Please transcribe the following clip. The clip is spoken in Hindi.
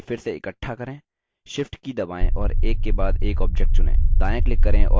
shift की दबाएँ और एक के बाद एक object चुनें